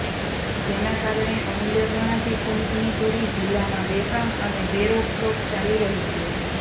જેના કારણે અમુલ્ય ગણાતી ખનીજની ચોરી જિલ્લામાં બેફામ અને બેરોકટોક ચાલી રહી છે